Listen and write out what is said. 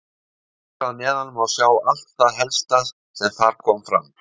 Hér að neðan má sjá allt það helsta sem þar kom fram.